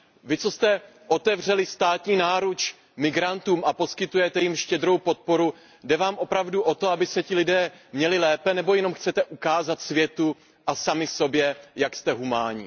Vy, kteří jste otevřeli státní náruč migrantům a poskytujete jim štědrou podporu, jde vám opravdu o to, aby se ti lidé měli lépe, nebo jenom chcete ukázat světu a sami sobě, jak jste humánní?